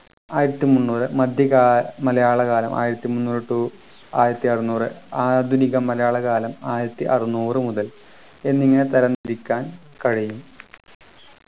ആയിരത്തി മുന്നൂറു മധ്യ കാ മലയാളകാലം ആയിരത്തിമുന്നൂറു to ആയിരത്തിഅറന്നൂറു ആധുനിക മലയാളകാലം ആയിരത്തി അറന്നൂറു മുതൽ എന്നിങ്ങനെ തരം തിരിക്കാൻ കഴിയും